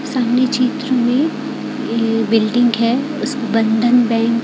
सामने चित्र में ये बिल्डिंग है उस बंधन बैंक --